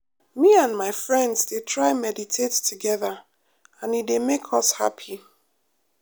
me and my friends dey try meditate together and e dey make us happy.